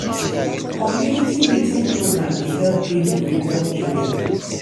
community meeting program dey help bring tori come area.